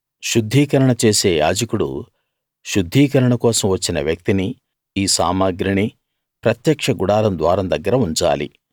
శుద్ధీకరణ చేసే యాజకుడు శుద్ధీకరణ కోసం వచ్చిన వ్యక్తినీ ఈ సామగ్రినీ ప్రత్యక్ష గుడారం ద్వారం దగ్గరఉంచాలి